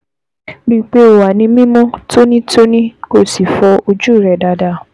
Rí i pé o wà ní mímọ́ tónítóní, kó o sì fọ ojú rẹ dáadáa